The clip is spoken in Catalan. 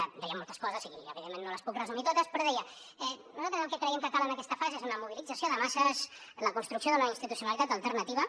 deia moltes coses i evidentment no les puc resumir totes però deia nosaltres el que creiem que cal en aquesta fase és una mobilització de masses la construcció d’una institucionalitat alternativa